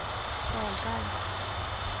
Dahlberg